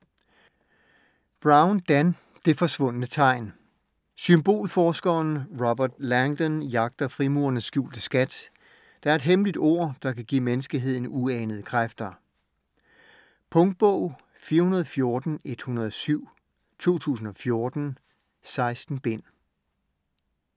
Brown, Dan: Det forsvundne tegn Symbolforskeren Robert Langdon jagter frimurernes skjulte skat, der er et hemmeligt ord, der kan give menneskeheden uanede kræfter. Punktbog 414107 2014. 16 bind.